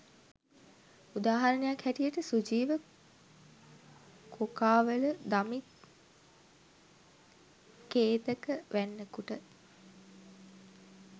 උදාහරණයක් හැටියට සුජීව කොකාවල දමිත් කේතක වැන්නකුට